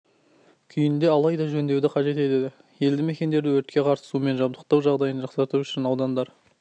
күйінде алайда жөндеуді қажет етеді елді мекендердің өртке қарсы сумен жабдықтау жағдайын жақсарту үшін аудандар